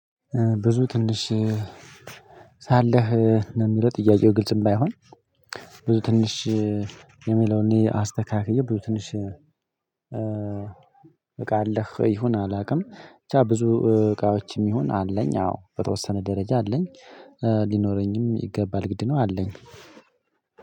ብዙ ትንሽ ሳለህ ነው የሚለው ጥያቄው ግልጽም ባይሆን። ብዙ ትንሽ የሚለውን እኔ አስተካክዬ ብዙ ትንሽ እቃ አለህ ይሁን አላውቅም። ብቻ ብዙ እቃዎችም ይሁን አለኝ። አዎ በተወሰነ ደረጃ አለኝ። ሊኖረኝም ይገባል ግድ ነው። አለኝ።